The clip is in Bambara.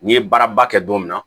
N'i ye baaraba kɛ don min na